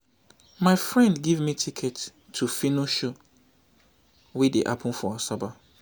my friend give me ticket to phyno show wey dey happen for asaba